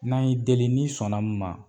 N'an y'i deli n'i sɔn na mun ma.